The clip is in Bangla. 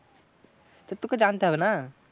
তোকে জানতে হবে না?